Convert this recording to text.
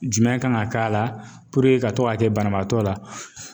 Jumɛn kan ga k'a la puruke ka to ga kɛ banabaatɔ la